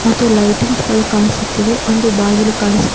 ಮತ್ತು ಲೈಟಿಂಗ್ಸ್ ಗಳು ಕಾಣಿಸುತ್ತಿವೆ ಒಂದು ಬಾಗಿಲು ಕಾಣಿಸು--